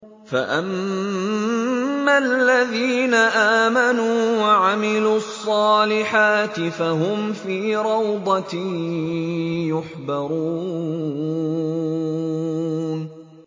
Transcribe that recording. فَأَمَّا الَّذِينَ آمَنُوا وَعَمِلُوا الصَّالِحَاتِ فَهُمْ فِي رَوْضَةٍ يُحْبَرُونَ